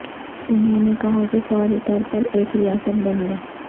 انہوں نے کہا کہ فوری طور پر ایک ریاست بن گیا